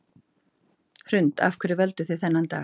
Hrund: Af hverju völduð þið þennan dag?